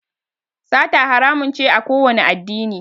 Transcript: Sata haramun ce a kowani addini